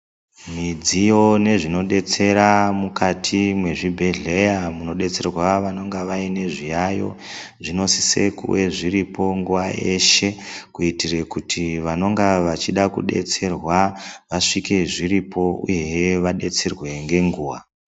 Midziyo nezvinodetsera mukati mwezvibhedhleya munodetserwa vanenge vaine zviyayo zvinosisa kuve zviripo nguva yese kuitire kuti vanoda kudetserwa vasvike zviripo uyehe vadetserwe ngenguwa.